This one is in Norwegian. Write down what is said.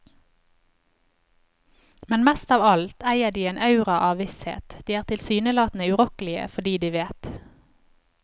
Men mest av alt eier de en aura av visshet, de er tilsynelatende urokkelige fordi de vet.